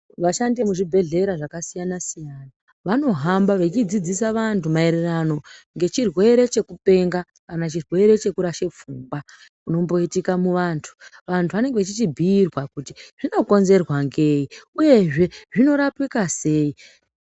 Vashandi emuzvibhedhlera zvakasiyana siyana vanohamba veidzidzisa vanthu marererano nechirwere chekupenga kana chirwere chekurashe pfungwa chinomboitika muvanthu vanthu vanenge vechichibhiirwa kuti zvinokonzerwa nei uyezve zvinorapika sei.